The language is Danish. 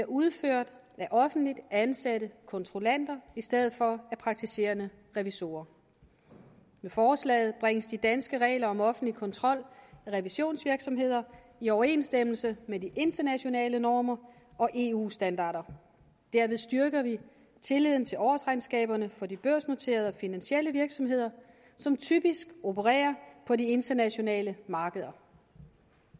udført af offentligt ansatte kontrollanter i stedet for af praktiserende revisorer med forslaget bringes de danske regler om offentlig kontrol af revisionsvirksomheder i overensstemmelse med de internationale normer og eu standarder derved styrker vi tilliden til årsregnskaberne for de børsnoterede og finansielle virksomheder som typisk opererer på de internationale markeder